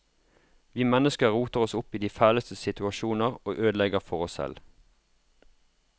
Vi mennesker roter oss opp i de fæleste situasjoner og ødelegger for oss selv.